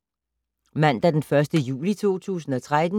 Mandag d. 1. juli 2013